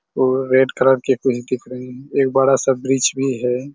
और red colour के कुछ दिख रहे है। एक बड़ा सा ब्रिज भी है।